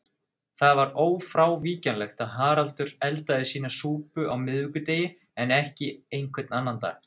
Það var ófrávíkjanlegt að Haraldur eldaði sína súpu á miðvikudegi en ekki einhvern annan dag.